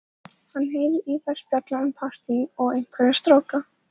Hann heyrir að þær spjalla um partí og einhverja stráka.